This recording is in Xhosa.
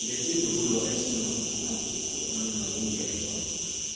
njengesindululo esinokuguquguquka ekunokongezwa